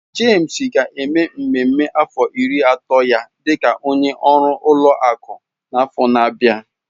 James ga-eme mmemme afọ iri ato ya dị ka onye ọrụ ụlọ akụ n'afọ na-abịa.